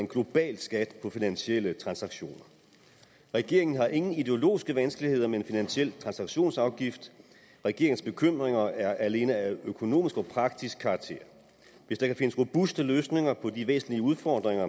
en global skat på finansielle transaktioner regeringen har ingen ideologiske vanskeligheder med en finansiel transaktionsafgift regeringens bekymringer er alene af økonomisk og praktisk karakter hvis der kan findes robuste løsninger på de væsentlige udfordringer